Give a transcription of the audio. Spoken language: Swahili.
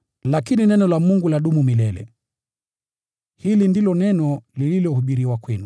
lakini neno la Bwana ladumu milele.” Hili ndilo neno lililohubiriwa kwenu.